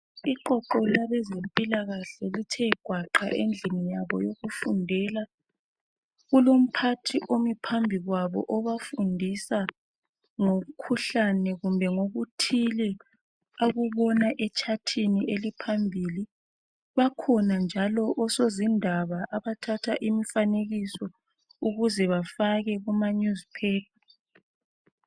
Iqoqo labezempilakahle lithe gwaqa endlini yabo yokufundela. Kulomphathi omi phambi kwabo ofundisa ngomkhuhlane kumbe ngokuthile akubona etshathini eliphambili bakhona njalo osozindab abathatha imifanekiso ukuze bafake kumanewspaper.